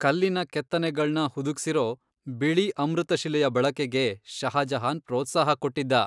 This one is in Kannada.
ಕಲ್ಲಿನ ಕೆತ್ತನೆಗಳ್ನ ಹುದುಗ್ಸಿರೋ ಬಿಳಿ ಅಮೃತಶಿಲೆಯ ಬಳಕೆಗೆ ಶಹಜಹಾನ್ ಪ್ರೋತ್ಸಾಹ ಕೊಟ್ಟಿದ್ದ.